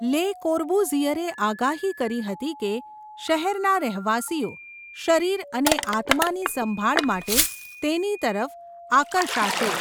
લે કોર્બુઝિયરે આગાહી કરી હતી કે શહેરના રહેવાસીઓ 'શરીર અને આત્માની સંભાળ' માટે તેની તરફ આકર્ષાશે.